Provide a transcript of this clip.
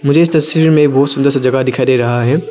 इस तस्वीर में बहुत सुंदर से जगह दिखाई दे रहा है।